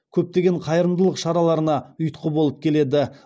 көптеген қайырымдылық шараларына ұйытқы болып келеді